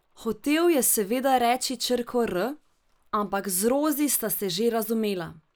Hotel je seveda reči črko r, ampak z Rozi sta se že razumela.